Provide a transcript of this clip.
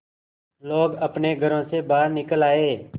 लोग अपने घरों से बाहर निकल आए